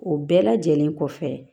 O bɛɛ lajɛlen kɔfɛ